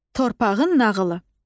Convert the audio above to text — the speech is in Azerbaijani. Torpağın nağılı.